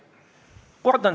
Ma olen hästi tänulik Isamaale.